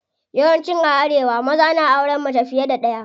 Yawan ci a arewa maza na auren mace fiye da ɗaya.